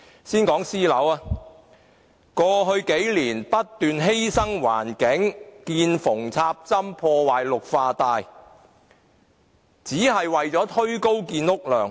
先講私人樓宇，政府過去不斷犧牲環境，見縫插針，破壞綠化帶，只是為了推高建屋量。